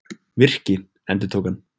Virki, endurtók hann.